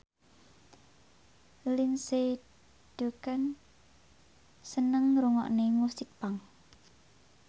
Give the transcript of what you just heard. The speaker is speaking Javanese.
Lindsay Ducan seneng ngrungokne musik punk